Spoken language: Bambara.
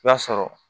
I b'a sɔrɔ